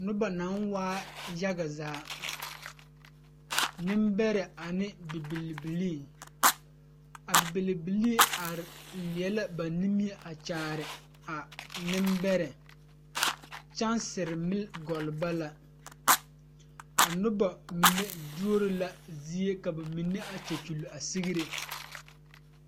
Nobɔ naŋ waa yage zaa neŋbɛrɛ ane bibilii a bibilii are leɛ la ba nimie a kyaare a neŋbɛrɛ kyansire milli gɔlle ba la a nobɔ mine duoro la zie ka ba mine a kyɛ kyule a sigre.